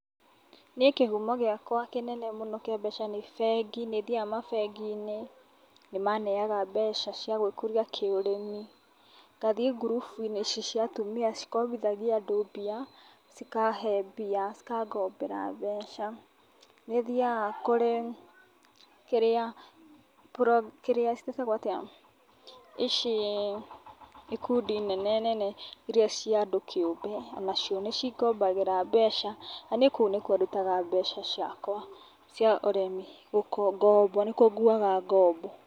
Niĩ kĩhumo gĩakwa kĩnene mũno kia mbeca nĩ bengi, nĩ thiaga mabengiinĩ nĩmaneaga mbeca cia gwĩkũria kĩũrĩmi ngathiĩ ngurubu-inĩ ici cia atumia cikobithagia andũ mbia cikahe mbia cikangombera mbeca, nĩ thiaga kũrĩ kĩrĩa, pro, kĩrĩa cĩatagwo atĩa ici ikũndi nene nene ieia cia andũ kĩũmbe nacio nĩ cingobagĩra mbeca na niĩ kũu nĩkuo ndutaga mbeca ciakwa cia ũrimĩ cia gombo, nĩkuo nguaga ngombo.